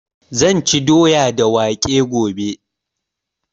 Zan ci doya da waƙe gobe